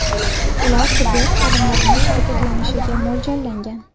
Ular tibbiyot xodimlarining harakatlanishiga mo‘ljallangan.